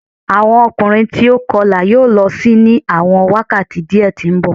Awọn ọkunrin ti o kọla yoo lọ si ni awọn wakati diẹ ti nbọ